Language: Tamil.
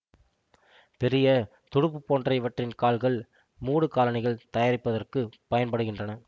பெரிய துடுப்புபோன்ற இவற்றின் கால்கள் மூடுகாலணிகள் தயாரிப்பதற்குப் பயன்படுகின்றன